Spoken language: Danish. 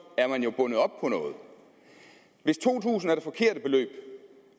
er man jo bundet op på noget hvis to tusind kroner er det forkerte beløb